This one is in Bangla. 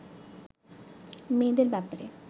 মেয়েদের ব্যাপারে